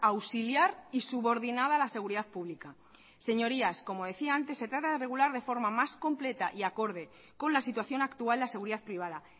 auxiliar y subordinada a la seguridad pública señorías como decía antes se trata de regular de forma más completa y acorde con la situación actual la seguridad privada